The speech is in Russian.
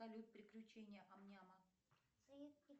салют приключения ам няма